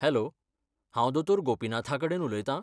Hello, हांव दोतोर गोपिनाथाकडेन उलयतां?